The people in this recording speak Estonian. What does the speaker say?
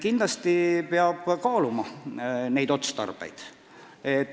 Kindlasti peab kaaluma asjaomaseid otstarbeid.